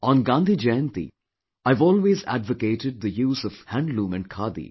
On Gandhi Jayanti I have always advocated the use of handloom and Khadi